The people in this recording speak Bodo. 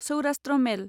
सौराष्ट्र मेल